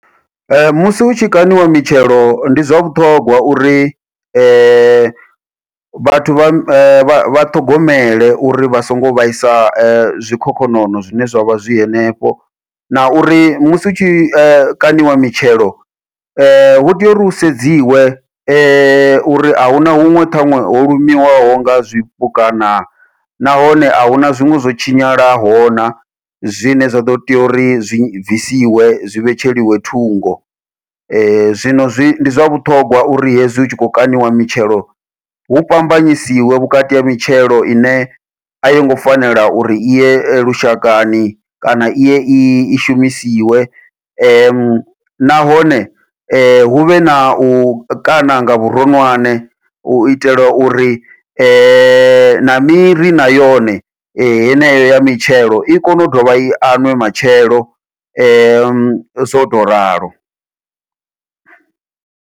Musi hu tshi kaṋiwa mitshelo ndi zwa vhuṱhongwa uri vhathu vha ṱhogomele uri vha songo vhaisa zwikhokhonono zwine zwavha zwi henefho, na uri musi hu tshi kaṋiwa mitshelo hu tea uri hu sedziwa uri ahuna huṅwe ṱhaṅwe ho lumiwaho nga zwipuka na, nahone ahuna zwiṅwe zwo tshinyalaho na, zwine zwa ḓo tea uri zwi bvisiwe zwi vhetsheliwa thungo . Zwino ndi zwa vhuṱhongwa uri hezwi hu tshi khou kaṋiwa mitshelo hu fhambanyisiwe vhukati ha mitshelo ine a yongo fanela uri iye lushakani kana iye i shumisiwe, nahone huvhe nau kaṋa nga vhuronwane u itela uri na miri na yone heneyo ya mitshelo i kone u dovha i aṅwe matshelo zwo tou ralo.